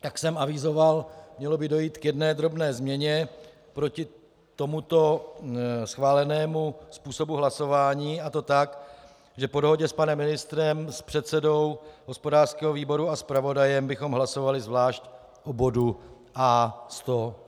Jak jsem avizoval, mělo by dojít k jedné drobné změně proti tomuto schválenému způsobu hlasování, a to tak, že po dohodě s panem ministrem, s předsedou hospodářského výboru a zpravodajem bychom hlasovali zvlášť o bodu A109.